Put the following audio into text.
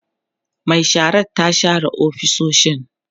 Mai sharar ta share ofisoshin